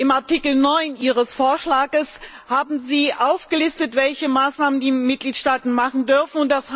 In Artikel 9 Ihres Vorschlags haben Sie aufgelistet, welche Maßnahmen die Mitgliedstaaten treffen dürfen.